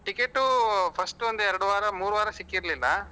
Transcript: Ticket ಉ first ಒಂದು ಎರಡು ವಾರ ಮೂರು ವಾರ ಸಿಕ್ಕಿರ್ಲಿಲ್ಲ